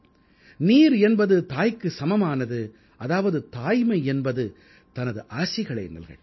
நீர் என்பது தாய்க்கு சமமானது அதாவது தாய்மை என்பது தனது ஆசிகளை நல்கட்டும்